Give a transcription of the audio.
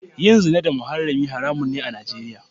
Yin zina da muharrami haramun ne a Nijeriya.